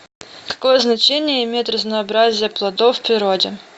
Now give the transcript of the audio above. какое значение имеет разнообразие плодов в природе